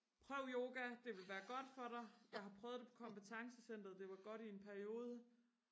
prøv yoga det ville være godt for dig jeg har prøvet det på kompetencecenteret det var godt i en periode